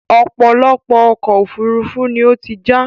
ọ̀pọ̀lọpọ̀ ọkọ̀ òfurufú ni ó ti já